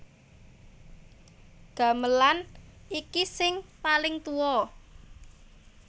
Gamelan iki sing paling tuwa